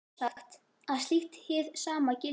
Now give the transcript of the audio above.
Er sjálfsagt að slíkt hið sama gildi á